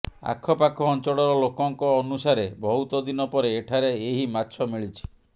ଆଖପାଖ ଅଞ୍ଚଳର ଲୋକଙ୍କ ଅନୁସାରେ ବହୁତ ଦିନ ପରେ ଏଠାରେ ଏହି ମାଛ ମିଳିଛି